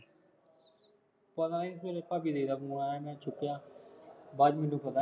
ਪਤਾ ਨਹੀਂ ਤੇਰੇ ਭਾਬੀ ਤੇਰੇ ਦਾ ਫੋਨ ਆਇਆ, ਮੈਂ ਚੁੱਕਿਆ ਨਹੀਂ ਬਾਅਦ ਚ ਮੈਨੂੰ ਪਤਾ